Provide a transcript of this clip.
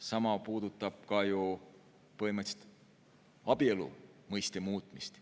Sama puudutab põhimõtteliselt ka abielu mõiste muutmist.